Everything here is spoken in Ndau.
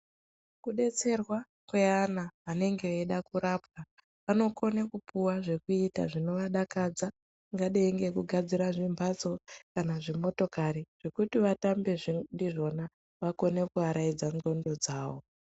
Kudetserwa kweana anenge eida kurapwa anokone kupuwa zvekuita zvinovadakadza zvingadai ngekugadzira zvimbatso kana zvimotokari zvekuti vatambe ndizvona vakone kuaraidza nxondo dzavo.